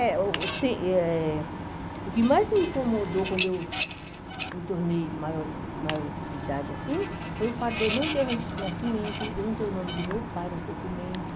É, o que tem eh o que mais me incomodou quando eu me tornei maior de maior de idade assim foi o fato de eu não ter o registro de nascimento, de eu não ter o nome do meu pai nos documentos.